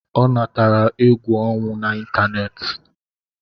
Ọ natara egwu ọnwụ na ịntanetị